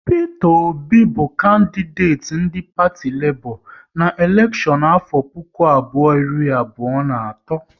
Peter Obi bụ kandideti ndị parti Lebọ na elekshon afọ puku abụọ iri abụọ na atọ